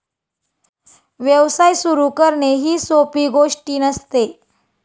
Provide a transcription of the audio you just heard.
व्यवसाय सुरू करणे ही सोपी गोष्टी नसते.